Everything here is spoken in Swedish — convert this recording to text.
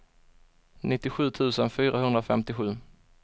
nittiosju tusen fyrahundrafemtiosju